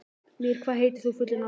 Mír, hvað heitir þú fullu nafni?